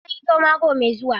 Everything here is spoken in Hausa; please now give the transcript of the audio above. Zan ga likitan ido mako mai zuwa.